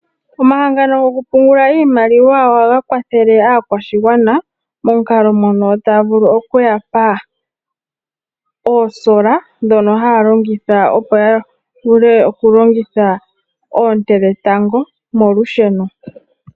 Omahangano gokupungula iimaliwa ohaga kwathele aakwashigwana momukalo mono taya vulu okuya pa oosola ndhono haya longitha, opo ya vule oku longitha oonte dhetango molusheno.